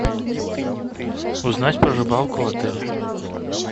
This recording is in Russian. узнать про рыбалку в отеле